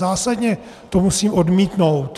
Zásadně to musím odmítnout.